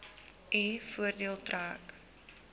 u voordeel trek